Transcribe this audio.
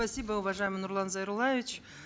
спасибо уважаемый нурлан зайроллаевич